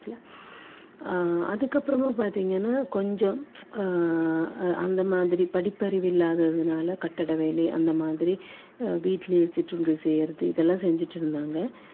ஆஹ் அஹ் அந்த மாதிரி படிப்பறிவு இல்லாததுனால கட்டட வேலை அந்த மாதிரி வீட்டிலேயே சிற்றுண்டி செய்யுறது இதெல்லாம் செஞ்சுட்டு இருந்தாங்க அதுக்கப்புறம்